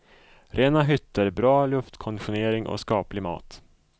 Rena hytter, bra luftkonditionering och skaplig mat.